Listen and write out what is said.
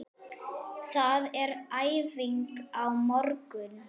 Það er æfing á morgun.